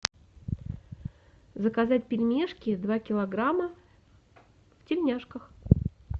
заказать пельмешки два килограмма в тельняшках